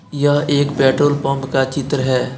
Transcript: यह एक petrol pump का चित्र है।